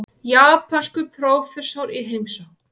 Japanskur prófessor í heimsókn.